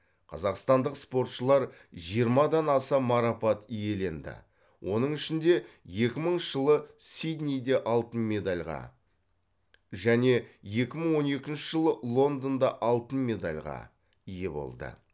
қазақстандық спортшылар жиырмадан аса марапат иеленді оның ішінде екі мыңыншы жылы сиднейде алтын медальға және екі мың он екінші жылы лондонда алтын медальға ие болды